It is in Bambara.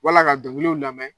Wala ka dɔngiliw lamɛn